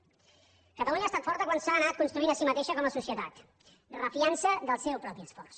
catalunya ha estat forta quan s’ha anat construint a si mateixa com a societat refiant se del seu propi esforç